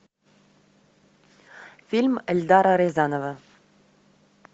фильм эльдара рязанова